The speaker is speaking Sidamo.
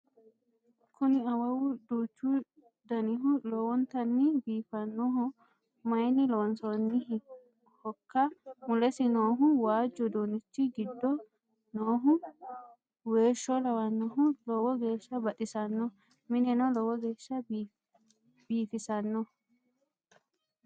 Kuni awawu duuchu danihu lowonittani biifannoho mayinni loonisoonihokka? Mulesi noohu waajju uduunichi giddo noohu weesho lawannohun lowo geesha baxisanno mineno lowo geesha biifisanno